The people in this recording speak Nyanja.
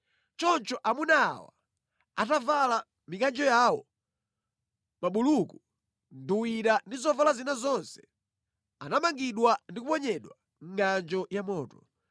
Choncho amuna awa, atavala mikanjo yawo, mabuluku, nduwira ndi zovala zina zonse, anamangidwa ndi kuponyedwa mʼngʼanjo ya moto.